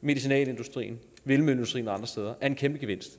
medicinalindustrien vindmølleindustrien og andre steder er en kæmpe gevinst